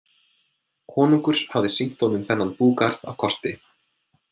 Konungur hafði sýnt honum þennan búgarð á korti.